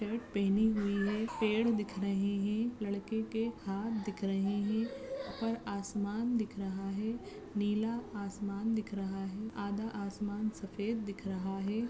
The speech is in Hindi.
शर्ट पहनी हुए है। पेड़ दिख रहे है लड़के के हाथ दिख रहे है। उपर आसमान दिख रहा है। नीला आसमान दिख रहा है आधा आसमान सफ़ेद दिख रहा है।